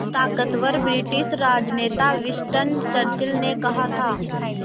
ताक़तवर ब्रिटिश राजनेता Winston Churchill ने कहा था